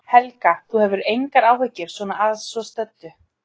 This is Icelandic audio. Helga: Þú hefur engar áhyggjur svona að svo stöddu?